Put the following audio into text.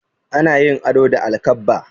Ana yin ado da alkabba.